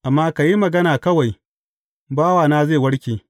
Amma ka yi magana kawai, bawana zai warke.